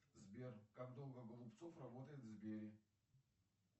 сбер как долго голубцов работает в сбере